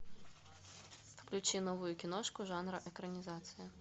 включи новую киношку жанра экранизация